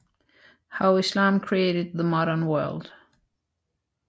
How Islam Created the Modern World